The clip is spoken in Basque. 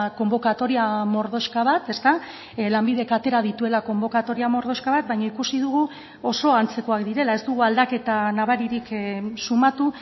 konbokatoria mordoxka bat lanbidek atera dituela konbokatoria mordoxka bat baina ikusi dugu oso antzekoak direla ez dugu aldaketa nabaririk sumatu